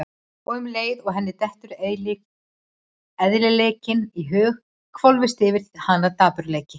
Og um leið og henni dettur eðlileikinn í hug hvolfist yfir hana dapurleiki.